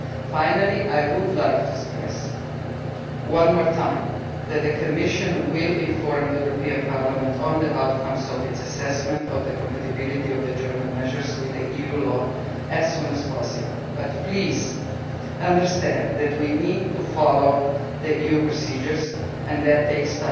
Finally, I would like to stress one more time that the Commission will inform Parliament of the outcome of its assessment of the compatibility of the German measures with EU law as soon as possible, but please understand that we need to follow EU procedures and that takes